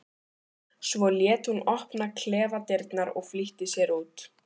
Svo lét hún opna klefadyrnar og flýtti sér út.